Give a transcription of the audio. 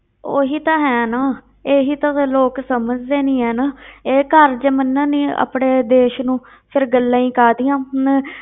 ਉਹੀ ਤਾਂ ਹੈ ਨਾ, ਇਹੀ ਤਾਂ ਗੱਲ ਲੋਕ ਸਮਝਦੇ ਨੀ ਹੈ ਨਾ ਇਹ ਘਰ ਜੇ ਮੰਨਣ ਨੀ ਆਪਣੇ ਦੇਸ ਨੂੰ ਫਿਰ ਗੱਲਾਂ ਹੀ ਕਾਹਦੀਆਂ ਹੋਣ,